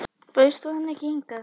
Bauðst þú henni ekki hingað?